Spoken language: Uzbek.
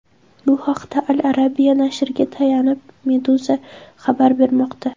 Bu haqda Al Arabia nashriga tayanib, Meduza xabar bermoqda .